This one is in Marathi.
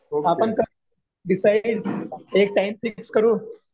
आपण करू डिसाईड एक टाइम फिक्स करू